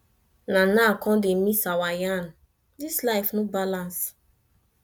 na now i come dey miss our yarn this life no balance